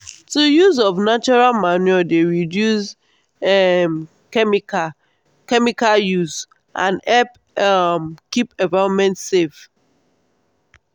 to use of natural manure dey reduce um chemical use and help um keep environment safe.